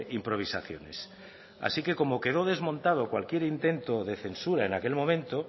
improvisaciones así que como quedo desmontado cualquier intento de censura en aquel momento